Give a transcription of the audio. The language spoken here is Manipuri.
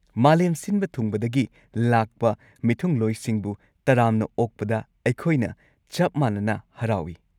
ꯃꯥꯂꯦꯝ ꯁꯤꯟꯕ ꯊꯨꯡꯕꯗꯒꯤ ꯂꯥꯛꯄ ꯃꯤꯊꯨꯡꯂꯣꯏꯁꯤꯡꯕꯨ ꯇꯔꯥꯝꯅ ꯑꯣꯛꯄꯗ ꯑꯩꯈꯣꯏꯅ ꯆꯞ ꯃꯥꯟꯅꯅ ꯍꯔꯥꯎꯏ꯫